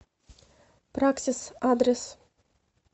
праксис адрес